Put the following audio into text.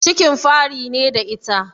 Cikin fari ne da ita?